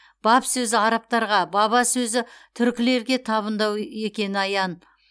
баб сөзі арабтарға баба сөзі түркілерге табындау екені аян